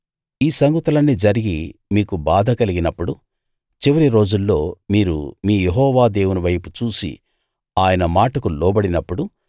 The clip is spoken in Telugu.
ఈ సంగతులన్నీ జరిగి మీకు బాధ కలిగినప్పుడు చివరి రోజుల్లో మీరు మీ యెహోవా దేవుని వైపు చూసి ఆయన మాటకు లోబడినప్పుడు